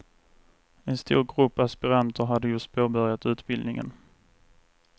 En stor grupp aspiranter hade just påbörjat utbildningen.